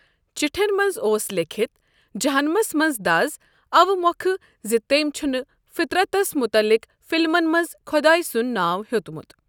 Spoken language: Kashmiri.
چِٹھین منز اوس لیٚکھِتھ جہنمس منز دز اوٕ مۄکھ زِ تمۍ چھُنہ فطرتس متعلق فلمن منز خُداے سُند ناو ہیوٚتمت۔